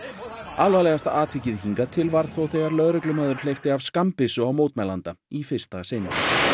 alvarlegasta atvikið hingað til varð þó þegar lögreglumaður hleypti af skammbyssu á mótmælanda í fyrsta sinn